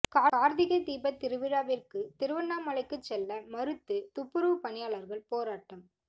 காா்த்திகை தீபத் திருவிழாவிற்கு திருவண்ணாமலைக்கு செல்ல மறுத்து துப்புரவுப் பணியாளா்கள் போராட்டம்